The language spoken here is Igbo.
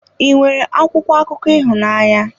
Ị nwere akwụkwọ akụkọ ịhụnanya?